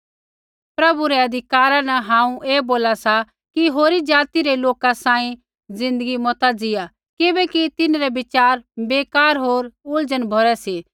प्रभु रै अधिकारा न हांऊँ ऐ बोला सा कि होरी ज़ाति रै लोका सांही ज़िन्दगी मता जिया किबैकि तिन्हरै बिचार बेकार होर उलझन भरै सी